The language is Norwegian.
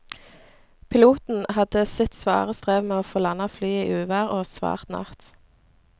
Piloten hadde sitt svare strev med å få landet flyet i uvær og svart natt.